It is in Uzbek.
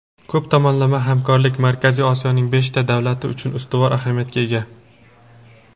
ko‘p tomonlama hamkorlik Markaziy Osiyoning beshta davlati uchun ustuvor ahamiyatga ega.